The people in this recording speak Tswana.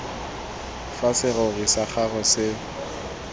fa serori sa gago se